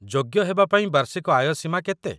ଯୋଗ୍ୟ ହେବାପାଇଁ ବାର୍ଷିକ ଆୟ ସୀମା କେତେ?